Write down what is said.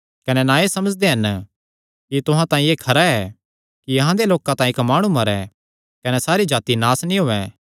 कने ना एह़ समझदे हन कि तुहां तांई एह़ खरा ऐ कि अहां दे लोकां तांई इक्क माणु मरे कने सारी जाति नास नीं होयैं